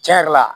Cɛn yɛrɛ la